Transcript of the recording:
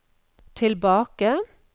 tilbake